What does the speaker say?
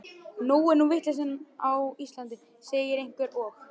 Nóg er nú vitleysan á Íslandi, segir einhver, og